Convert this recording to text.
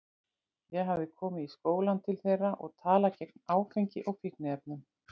Ég hafði komið í skólann til þeirra og talað gegn áfengi og fíkniefnum.